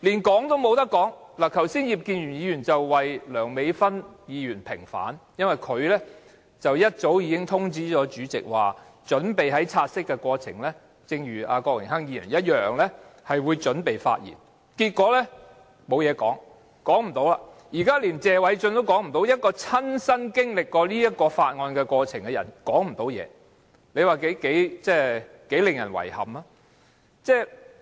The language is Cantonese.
剛才葉建源議員為梁美芬議員平反，因為她早已通知主席會像郭榮鏗議員般，在討論"察悉議案"時發言，但結果她無話可說，現在連謝偉俊議員也無話可說，連曾親身經歷附屬法例涉及的過程的人也無話可說，這是令人十分遺憾的事。